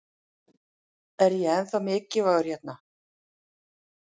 Er ég ennþá mikilvægur hérna?